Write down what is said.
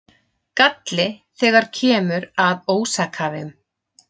Galli þegar kemur að ósakhæfum